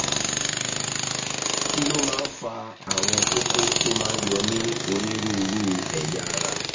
kí ló máa ń fa àwọn kókó tó máa ń yọ ní onírúurú ẹ̀yà ara?